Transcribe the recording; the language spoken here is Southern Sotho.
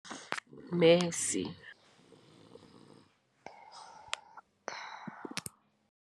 Messi